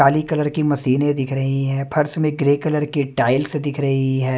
काली colour की मशीनें दिख रहीं हैं फर्श में ग्रे कलर की टाइल्स दिख रही हैं।